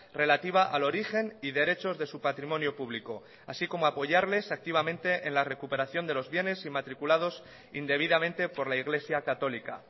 relativa al origen y derechos de su patrimonio público así como apoyarles activamente en la recuperación de los bienes inmatriculados indebidamente por la iglesia católica